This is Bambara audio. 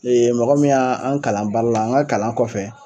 mɔgɔ min ya an kalan baara la an ŋa kalan kɔfɛ